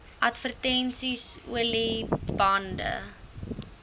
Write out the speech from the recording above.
advertensies olie bande